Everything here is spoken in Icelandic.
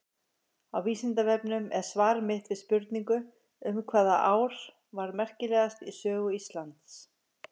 Á Vísindavefnum er svar mitt við spurningu um hvaða ár var merkilegast í sögu Íslands.